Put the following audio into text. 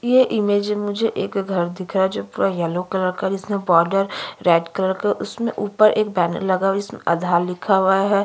यह इमेज में मुझे एक घर दिख रहा हैजो पूरा येलो कलर का है जिसमें बॉर्डर रेड कलर का उसमें ऊपर एक बैनर लगा हुआ जिसमें आधार लिखा हुआ है।